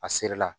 A seri la